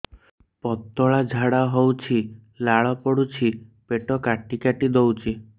ପତଳା ଝାଡା ହଉଛି ଲାଳ ପଡୁଛି ପେଟ କାଟି କାଟି ଦଉଚି